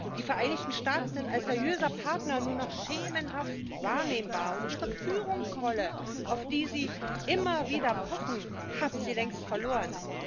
Die Vereinigten Staaten sind als seriöser Partner nur noch schemenhaft wahrnehmbar, und ihre Führungsrolle, auf die sie immer wieder pochen, haben sie längst verloren.